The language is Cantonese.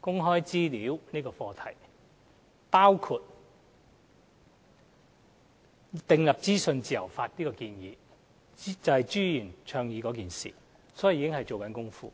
公開資料這課題，包括訂立資訊自由法的建議，這正是朱議員倡議的事情，所以有關工作已在進行。